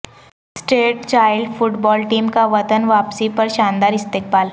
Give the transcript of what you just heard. street child football team کا وطن واپسی پر شاندار استقبال